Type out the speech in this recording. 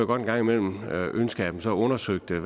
godt en gang imellem ønske at man så undersøgte